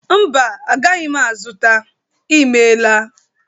Mba, agaghị m azụta. Ị mela.